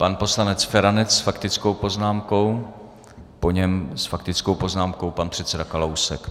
Pan poslanec Feranec s faktickou poznámkou, po něm s faktickou poznámkou pan předseda Kalousek.